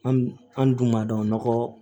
An an dun b'a dɔn nɔgɔ